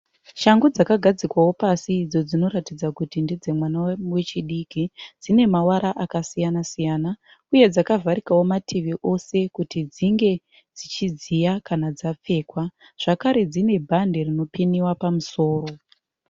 Shangu dzakagadzikwawo pasi idzo dzinoratidza kuti ndedzemwana wechidiki. Dzine mavara akasiyanasiyana uye dzakavharikawo mativi ose kuti dzinge dzichidziya kana dzapfekwa. Zvakare dzine bhande rinopiniwa pamusoro.